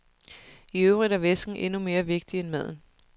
I øvrigt er væsken endnu mere vigtig end maden.